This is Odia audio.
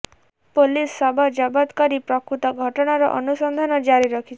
ପୋଲିସ ଶବ ଜବତ କରି ପ୍ରକୃତ ଘଟଣାର ଅନୁସନ୍ଧାନ ଜାରି ରଖିଛି